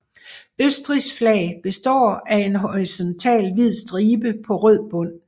Østrigs flag består af en horisontal hvid stribe på rød bund